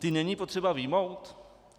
Ty není potřeba vyjmout?